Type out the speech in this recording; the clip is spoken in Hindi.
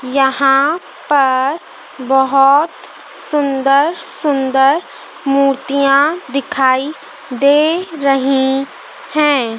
यहाँ पर बहोत सुंदर-सुंदर मूर्तियाँ दिखाई दे रहीं हैं।